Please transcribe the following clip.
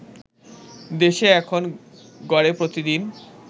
দেশে এখন গড়ে প্রতিদিন